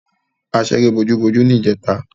A ṣeré bojúbojú ní ìjẹta.